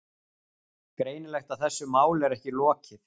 Greinilegt að þessu máli er ekki lokið.